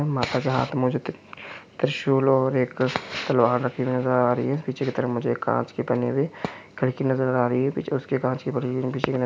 माता के हाथ में एक त्रिशूल और एक तलवार रखी नजर आ रही है पीछे की तरफ मुझे एक कांच की बनी हुई खिड़की नजर आ रही है और पीछे उसके कांच की--